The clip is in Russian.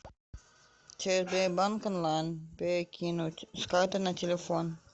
через сбербанк онлайн перекинуть с карты на телефон